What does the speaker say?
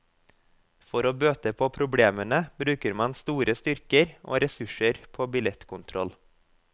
For å bøte på problemene, bruker man store styrker og ressurser på billettkontroll.